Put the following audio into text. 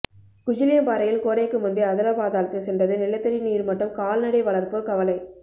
குஜிலியம்பாறையில் கோடைக்கு முன்பே அதலபாதாளத்தில் சென்றது நிலத்தடி நீர்மட்டம் கால்நடை வளர்ப்போர் கவலை